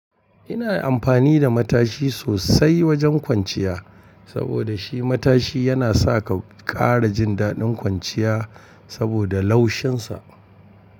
Ina amfani da matashi sosai wajen kwanciya, saboda shi matashi yana sa ka ƙara jin daɗin kwanciya saboda laushinsa.